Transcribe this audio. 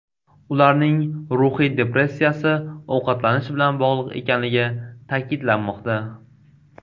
Ularning ruhiy depressiyasi ovqatlanish bilan bog‘liq ekanligi ta’kidlanmoqda.